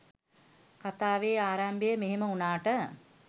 කතාවේ ආරම්භය මෙහෙම වුණාට